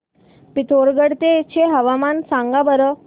पिथोरगढ चे हवामान सांगा बरं